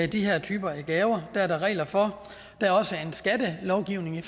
de her typer af gaver det er der regler for der er også en skattelovgivning